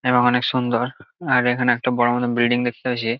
এবং অনেক সুন্দর আর এখানে একটা বড় মত বিল্ডিং দেখতে পাচ্ছি।